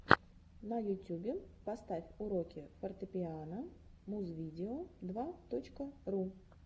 на ютюбе поставь уроки фортепиано музвидео два точка ру